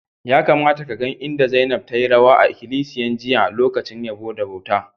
Ya kamata ka gan inda Zainab tayi rawa a ikilisiya jiya a'lokacin yabbo da bauta.